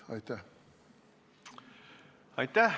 Aitäh!